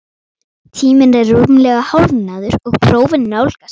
Tíminn er rúmlega hálfnaður og prófin nálgast,